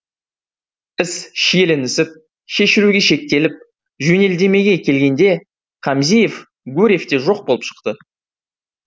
іс шиеленісіп шешілуге шектеліп жөнелдемеге келгенде хамзиев гурьевте жоқ болып шықты